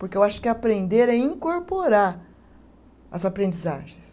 Porque eu acho que aprender é incorporar as aprendizagens.